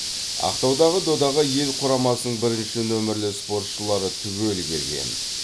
ақтаудағы додаға ел құрамасының бірінші нөмірлі спортшылары түгел келген